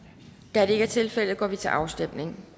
da det ikke er tilfældet går vi til afstemning